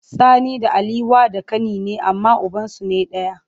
Sani da Ali wa da kani ne amma ubansu ne daya.